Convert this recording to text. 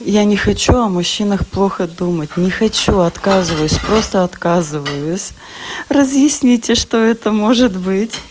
я не хочу о мужчинах плохо думать не хочу отказываюсь просто отказываюсь разъясните что это может быть